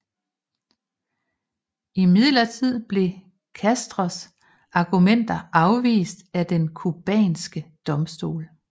Imidlertid blev Castros argumenter afvist af den cubanske domstol